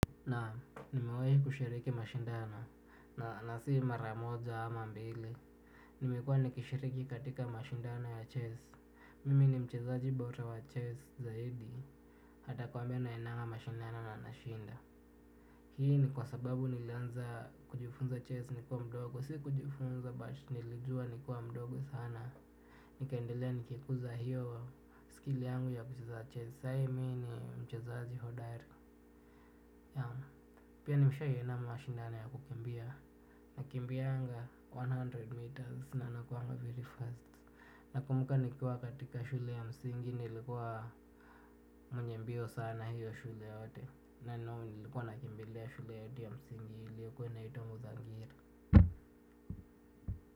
Na nimewahi kushiriki mashindano na nasi maramoja ama mbili. Nimekua nikishiriki katika mashindano ya chess. Mimi ni mchezaji bora wa chess zaidi. Atakwambia naendanga mashindano na nashinda. Hii ni kwa sababu nilanza kujifunza chess nikuwa mdogo. Si kujifunza, bali nilijua nikiwa mdogo sana. Nikaendelea kukuza huo ujuzi wangu wa chess, saa hiii mimi ni mchezaji hodari. Pia nimeshai enda mashindano ya kukimbia. Nakimbia mia moja meters na nakuanga very first. Nakumbuka nikiwa katika shule ya msingi nilikuwa mwenye mbio sana hiyo shule yote. Na nilikuwa nakimbila shule yetu ya msingi iliyokuwa inaitwa muzangiri.